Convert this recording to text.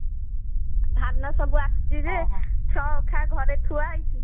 ଧାନ ସବୁ ଆସିଛି ଯେ ଛଅ ଅଖା ଘରେ ଥୁଆ ହେଇଛି